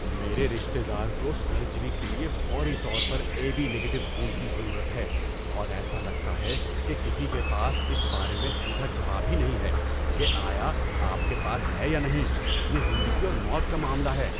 میرے رشتہ دار کو سرجری کے لیے فوری طور پر اے بی نگیٹو خون کی ضرورت ہے، اور ایسا لگتا ہے کہ کسی کے پاس اس بارے میں سیدھا جواب ہی نہیں ہے کہ آیا آپ کے پاس ہے یا نہیں۔ یہ زندگی اور موت کا معاملہ ہے!